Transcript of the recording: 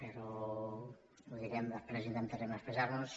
però ho direm i després intentarem expressar nos